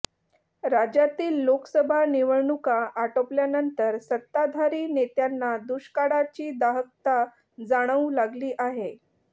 राज्यातील लोकसभा निवडणुका आटोपल्यानंतर सत्ताधारी नेत्यांना दुष्काळाची दाहकता जाणवू लागली आहे